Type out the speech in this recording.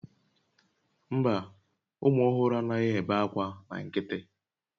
Mba, ụmụ ọhụrụ anaghị ebe akwa na nkịtị